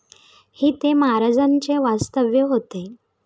येथे महाराजांचे वास्तव्य होते.